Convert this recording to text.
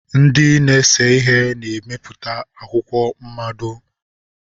Ndị na-ese ihe na-emepụta akwụkwọ mmado.